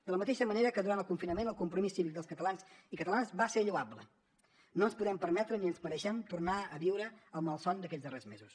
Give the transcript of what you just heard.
de la mateixa manera que durant el confinament el compromís cívic dels catalans i catalanes va ser lloable ara no ens podem permetre ni ens mereixem tornar a viure el malson d’aquests darrers mesos